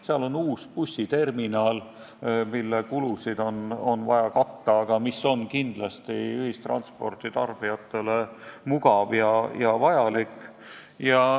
Seal on uus bussiterminal, mille kulusid on vaja katta, aga mis on kindlasti ühistranspordi tarbijatele mugav ja vajalik.